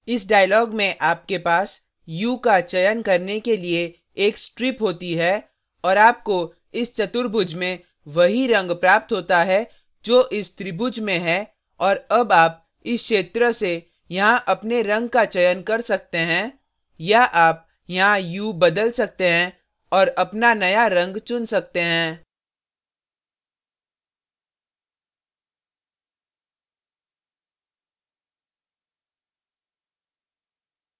इस dialog में आपके पास hue का चयन करने के लिए एक strip होती है और आपको इस चतुर्भुज में वही in प्राप्त होता है जो इस त्रिभुज में है और अब आप इस क्षेत्र से यहाँ अपने in का चयन कर सकते हैं या आप यहाँ hue बदल सकते हैं और अपना नया in चुन सकते हैं